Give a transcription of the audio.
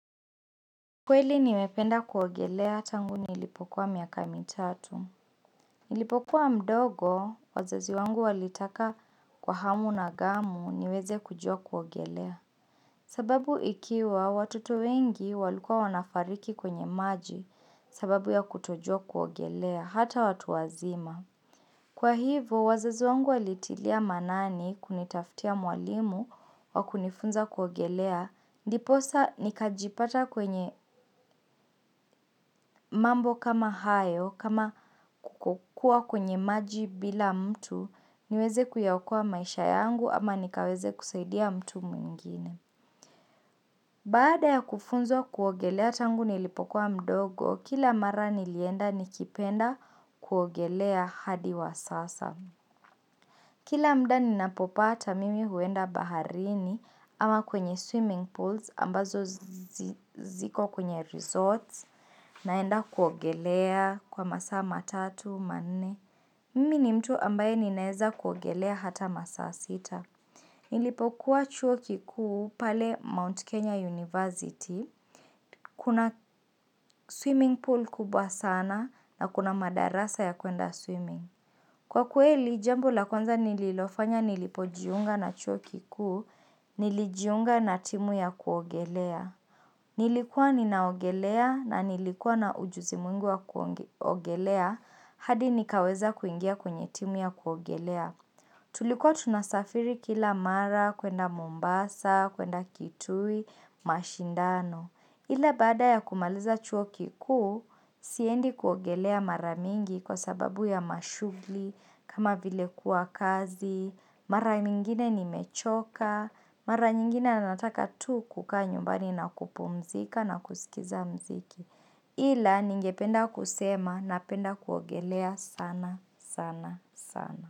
Kweli nimependa kuogelea tangu ni ilipokuwa miakami tatu. Nilipokuwa mdogo, wazazi wangu walitaka kwa hamu na gamu niweze kujua kuogelea. Sababu ikiwa, watoto wengi walikua wanafariki kwenye maji sababu ya kutojua kuogelea, hata watu wazima. Kwa hivo, wazazi wangu walitilia manani kunitaftia mwalimu wa kunifunza kuogelea, ndiposa nikajipata kwenye mambo kama hayo, kama kukukua kwenye maji bila mtu, niweze kuyaokoa maisha yangu ama nikaweze kusaidia mtu mwingine. Baada ya kufunzwa kuogelea tangu nilipokua mdogo, kila mara nilienda nikipenda kuogelea hadi wa sasa. Kila mda ninapopata mimi huenda baharini ama kwenye swimming pools ambazo zi ziko kwenye resorts naenda kuogelea kwa masa matatu, manne. Mimi ni mtu ambaye ninaeza kuogelea hata masaa sita. Nilipokuwa chuo kikuu pale Mount Kenya University. Kuna swimming pool kubwa sana na kuna madarasa ya kuenda swimming. Kwa kweli, jambo la kwanza nililofanya nilipojiunga na chuo kikuu, nilijiunga na timu ya kuogelea. Nilikuwa ninaogelea na nilikuwa na ujuzi mwingi wa kuogelea, hadi nikaweza kuingia kwenye timu ya kuogelea. Tulikuwa tunasafiri kila mara, kwenda mumbasa, kwenda kitui, mashindano. Ila baada ya kumaliza chuo kikuu, siendi kuogelea maramingi kwa sababu ya mashugli, kama vile kuwa kazi, maramingine ni mechoka, maranyingine nanataka tu kukaa nyumbani na kupumzika na kusikiza mziki. Ila ningependa kusema na penda kuogelea sana sana sana.